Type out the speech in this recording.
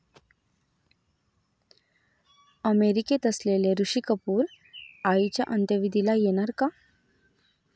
अमेरिकेत असलेले ऋषी कपूर आईच्या अंत्यविधीला येणार का?